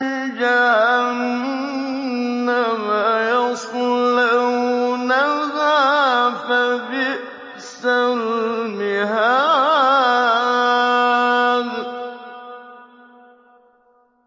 جَهَنَّمَ يَصْلَوْنَهَا فَبِئْسَ الْمِهَادُ